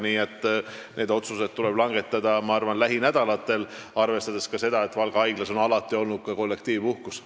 Nii et need otsused tuleb langetada, ma arvan, lähinädalatel, arvestades ka seda, et Valga haiglas on alati olnud kollektiivpuhkus.